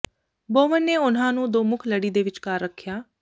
ਬੋਵਨ ਨੇ ਉਨ੍ਹਾਂ ਨੂੰ ਦੋ ਮੁੱਖ ਲੜੀ ਦੇ ਵਿਚਕਾਰ ਰੱਖਿਆ